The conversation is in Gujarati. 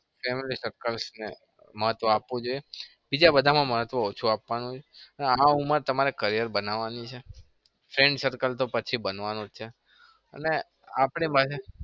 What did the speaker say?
family circles ને મહત્વ આપવું જોઈએ બીજા બધામાં મહત્વ ઓછું આપવાનું અને આ ઉંમર તમારે career બનાવાની છે. friend circle તો પછી બનવાનું જ છે.